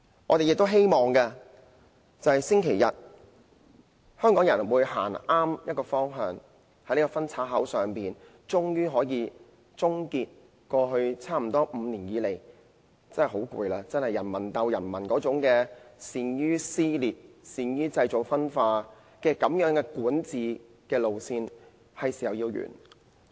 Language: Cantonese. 我們很希望，經過星期日，香港人能夠走向正確的方向，在這個分岔口上，終於可以終結過去差不多5年的疲累，那種人民鬥人民、善於撕裂、善於製造分化的管治路線應該是時候來到終結。